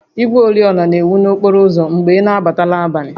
Igwe oriọna na-enwu n'okporo ụzọ mgbe ị na-agba n'abalị